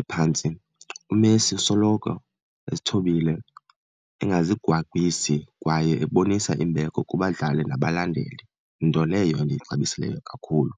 ephantsi, uMessi usoloko ezithobile, engazigwagwisi kwaye ebonisa imbeko kubadlali nabalandeli, nto leyo endiyixabisileyo kakhulu.